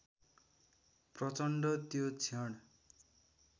प्रचण्ड त्यो क्षण